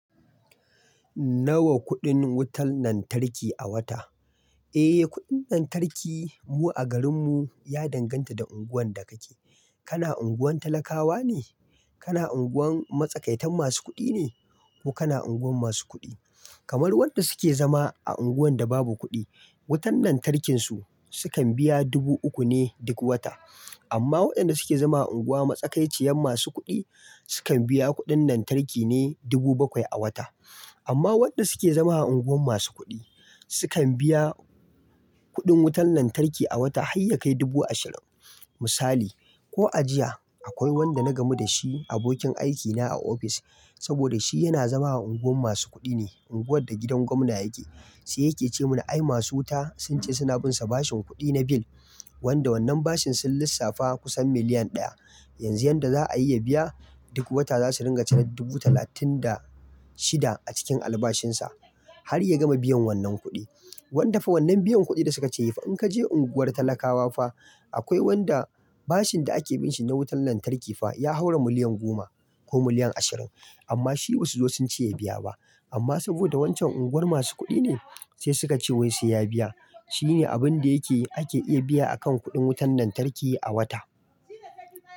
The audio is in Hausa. Nawa kuɗin wutar lantarki a wata? Eh, kuɗin lantarki mu a garinmu ya danganta da unguwar da kake. Kana unguwar talakawa ne, kana unguwar matsakaitan masu kuɗi ne, ko kana unguwar masu kuɗi. Kamar wanda suke zama a unguwan da babu kuɗi, wutar lantarkinsu sukan biya dubu uku ne duk wata. Amma waɗanda suke zama a unguwar matsakaiciyar masu kuɗi, sukan biya kuɗin lantarki ne dubu bakwai a wata. Amma waɗanda suke zama a unguwar masu kuɗi, sukan biya kuɗin wutar lantarki a wata har ya kai dubu ashirin. Misali, ko a jiya akwai wanda na gamu da shi, abokin aikina a office, saboda shi yana zama a unguwar masu kuɗi ne, unguwar da gidan gwamna yake. Sai yake ce mana, "Ai masu wuta sun ce suna binsa bashin kuɗi na bill, wanda wannan bashin sun lissafa kusan miliyan ɗaya. Yanzu yanda za a iya biya, duk wata za su ringa cire dubu talatin da shida a cikin albashinsa har ya gama biyan wannan kuɗi." Wanda fa wannan biyan kuɗin da suka ce, in ka je unguwar talakawa fa, akwai wanda bashin da ake binshe na wutar lantarki fa ya haura miliyan goma ko miliyan ashirin, amma shi ba su zo sun ce ya biya ba. Amma saboda wancan unguwar masu kuɗi ne, sai suka ce wai sai ya biya. Shi ne abin da yake ake iya biya a kan kuɗin wutar lantarki a wata.